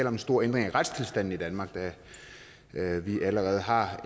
om en stor ændring af retstilstanden i danmark da vi allerede har